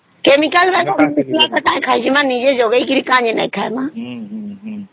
chemical କା କାଇଁ ଖାଇବା ନିଜେ ଉଗେଇକିରି କି ନାଇଁ ଖାଇବା !